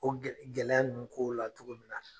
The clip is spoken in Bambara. O gɛ gɛlɛya ninnu k'o la cogo min na